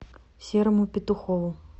серому петухову